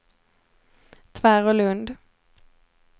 Tvärålund